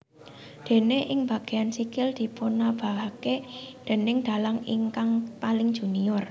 Déné ing bageyan sikil dipunobahaken déning dalang ingkang paling junior